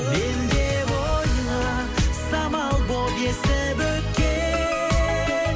мен деп ойла самал болып есіп өткен